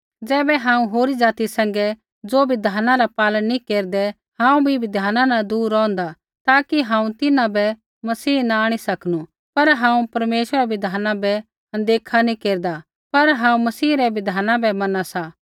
ज़ैबै हांऊँ होरी ज़ाति सैंघै ज़ो बिधाना रा पालन नैंई केरदै हांऊँ भी बिधाना न दूर रौहन्दा ताकि हांऊँ तिन्हां बै मसीह न आंणी सकनू पर हांऊँ परमेश्वरा रै बिधाना बै अनदेखा नी केरदा पर हांऊँ मसीह रै बिधाना बै मना सा